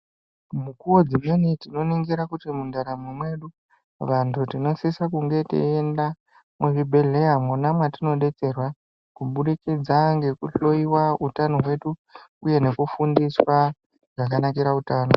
Mukuwo dzineni tinoningira kuti muntaramo mwedu vantu tinosisa kunge tiyienda kuzvibhedlera mona matinodetserwa kubudikidza ngekuhloyiwa hutano hwedu uye nekufundiswa zvakanakira hutano.